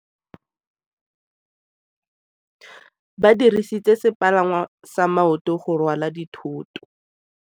Ba dirisitse sepalangwasa maotwana go rwala dithoto.